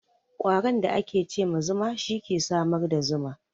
Ƙwaron da ake ce ma zuma, shi ke samar da zuma.